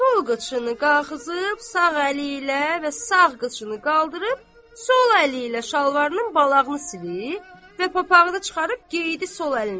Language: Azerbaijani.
Sol qıçını qaxızıb sağ əli ilə və sağ qıçını qaldırıb sol əli ilə şalvarının balağını silib və papağı da çıxarıb geydi sol əlinə.